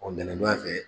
Ɔ nɛn don a fɛ